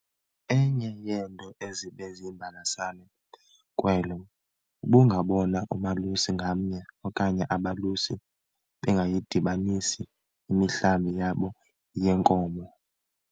Enye yeento ezibe ziyimbalasane kwelo, ubungabona umalusi ngamnye okanye abalusi bengayidibanisi imihlambi yabo yeenkomo.